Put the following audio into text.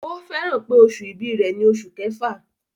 Ó fẹ́ràn pé oṣù ìbí rẹ̀ ni oṣù kẹfà.